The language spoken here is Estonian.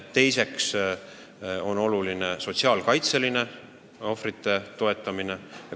Teiseks on oluline sotsiaalkaitseline ohvrite toetamine.